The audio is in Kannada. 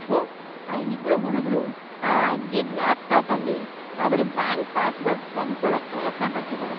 ಥು.. ಆ ಇಬ್ರು ಹುಡುಗ್ರು ಆ ಅಜ್ಜಿದ್ ಲ್ಯಾಪ್ಟಾಪಲ್ಲಿ ಅವ್ರ್ ಬ್ಯಾಂಕ್ ಪಾಸ್ವರ್ಡ್‌ ಕಂಡ್ಕೊಳಕ್ ಪ್ರಯತ್ನ‌ ಪಡ್ತಿದಾರೆ.